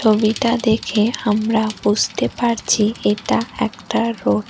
ছবিটা দেখে আমরা বুসতে পারছি এটা একটা রোড ।